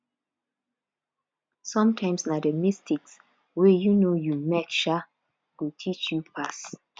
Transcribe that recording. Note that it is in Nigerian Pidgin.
sometimes na the mistakes wey um you make um go teach you pass